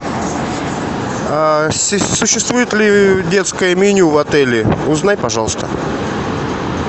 существует ли детское меню в отеле узнай пожалуйста